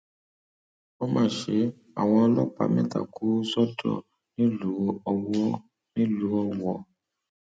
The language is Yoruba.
ó má ṣe àwọn ọlọpàá mẹta kù sọdọ nílùú ọwọ nílùú ọwọ